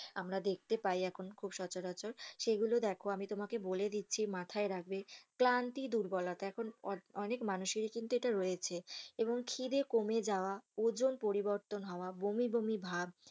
আমরা যেই গুলো দেখতে পাই এখন খুব সচরাচর সেই গুলো দেখো আমি তোমাকে বলে দিচ্ছি মাথায় রাখবে ক্লান্তি, দুর্বলতা এখন অনেক মানুষের ই কিন্তু এটা রয়েছে এবং খিদে কমে যাওয়া, ওজন পরিবর্তন হওয়া, বমি বমি ভাব,